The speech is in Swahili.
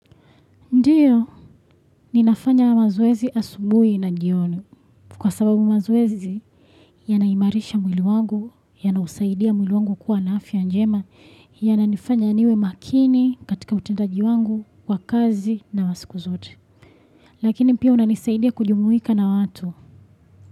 Ndiyo, ninafanya mazoezi asubui na jioni. Kwa sababu mazoezi, yanaimarisha mwili wangu, yanausaidia mwili wangu kuwa na afya njema, yananifanya niwe makini katika utendaji wangu wa kazi na wa sikuzote. Lakini pia unanisaidia kujumuika na watu.